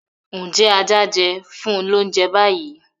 Njẹ aja jẹ? funni l'ounjẹ bayi.!